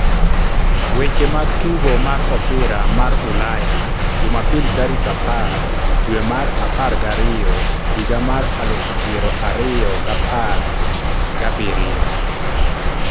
Weche mag Tugo mar Opira mar Ulaya Jumapil tarik apar dwe mar apargariyo higa mar aluf piero ariyo gapar gabiriyio.